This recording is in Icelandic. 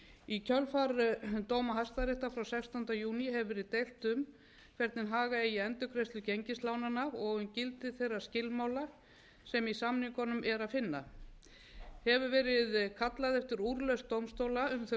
í kjölfar dóma hæstaréttar frá sextánda júní hefur verið deilt um hvernig haga eigi endurgreiðslu gengislánanna og um gildi þeirra skilmála sem í samningunum er að finna hefur verið kallað eftir úrlausn dómstóla um þau